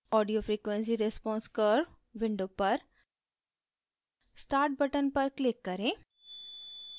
audio frequency response curve window पर start button पर click करें